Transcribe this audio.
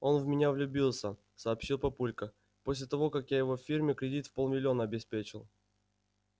он в меня влюбился сообщил папулька после того как я его фирме кредит в полмиллиона обеспечил